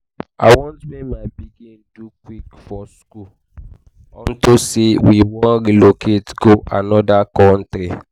you sure say you dey tell me your real age? how come you finish school early?